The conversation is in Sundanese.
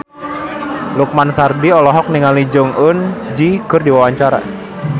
Lukman Sardi olohok ningali Jong Eun Ji keur diwawancara